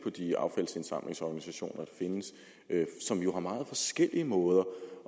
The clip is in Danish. de affaldsindsamlingsorganisationer der findes som jo har meget forskellige måder